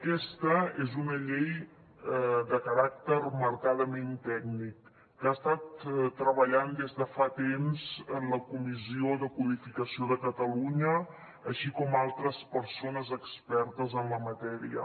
aquesta és una llei de caràcter marcadament tècnic que ha estat treballant des de fa temps la comissió de codificació de catalunya així com altres persones expertes en la matèria